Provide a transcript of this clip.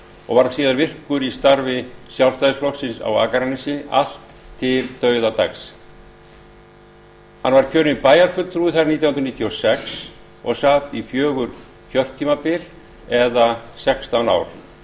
og varð síðar virkur í starfi sjálfstæðisflokksins á akranesi allt til dauðadags hann var kjörinn bæjarfulltrúi þar nítján hundruð sextíu og sex og sat í fjögur kjörtímabil eða sextán ár